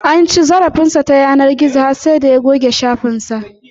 An ci zarafin sa ta yanar gizo har sai da ya goge shafin sa